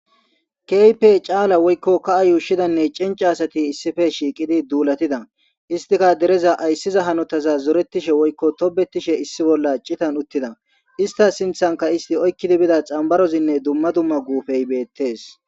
Keype caala woykko kaa yuushshidanne cinci asati issife shiiqidi duulatida istika dereza ayssiza hanotaza zoretishe woykko tobetishe issi bolla citan uttida ista sinthanka isti oykkidi bida xambarozinne dumma dumma guufey beettes